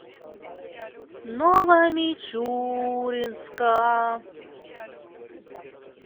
новомичуринска